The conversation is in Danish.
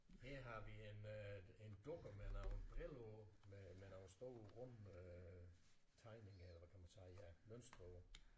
Her har vi en øh en dukke med nogle briller på med med nogle store runde øh tegninger eller hvad kan man sige ja mønster på